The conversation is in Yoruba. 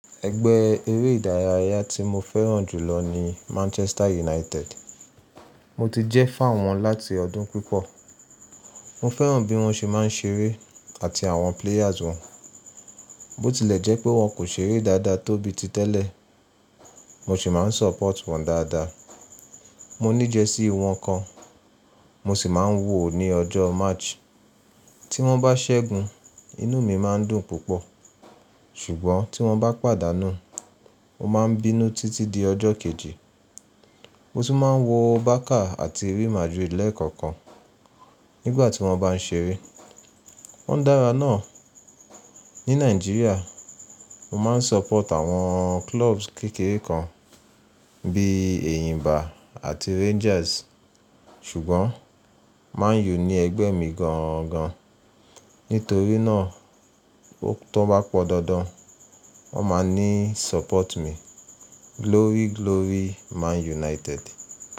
Ẹgbẹ́ eré ìdárayá tí mó fẹ́ràn jù lọ ni Manchester United. Mo ti jẹ́ fá. Ǹ wọn láti ọdún pípọ̀. Mo fẹ́ràn bí wọ́n ṣe máa ń ṣeré àti àwọn players wọn. Bó tilẹ̀ jẹ́ pé wọ́n kò ṣeré dáadáa tó bí ti tẹ́lẹ̀, mo sì máa ń support wọn dáadáa. Mó ní jẹsíí wọn kàn, mó sí máa ń wò ó ní ọjọ́ match. Tí wọ́n bá ṣẹ́gun, inú mi máa ń dùn púpọ̀. Ṣùgbọ́n tí wọ́n bá pàdánù, mo máa ń bínú títí di ọjọ́ kejì. Mó tún máa ń wo Barca àti Real Madrid lẹ́ẹ̀kọ̀kan nígbà tí wọ́n bá ń ṣeré. Wọ́n dára náà. Ní Níajíría, mo máa ń support àwọn clubs kékeré kan bí èyìnba àti Rangers, ṣùgbọ́n Man U ni ẹgbẹ́ mi gan gan. Nítorí náà, tó bá pọ̀ dandan, wọ́n máa ní support mi. Glory glory Man United.